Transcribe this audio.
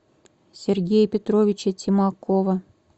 сергея петровича тимакова